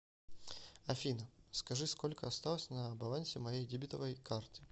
афина скажи сколько осталось на балансе моей дебетовой карты